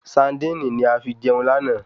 Saandíìnì ni a fi jeun lana